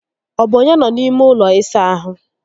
Ọ bụ onye nọ n'ime ụlọ ịsa ahụ?